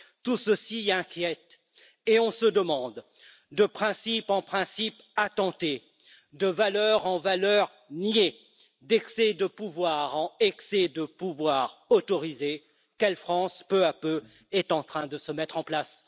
Tout cela inquiète, et on se demande de principes en principes attentés, de valeurs en valeurs niées, d'excès de pouvoir en excès de pouvoir autorisés, quelle France peu à peu est en train de se mettre en place?